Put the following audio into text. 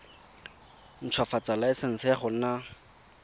ntshwafatsa laesense ya go nna